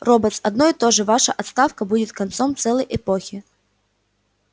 роботс одно и то же ваша отставка будет концом целой эпохи